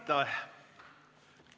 Aitäh!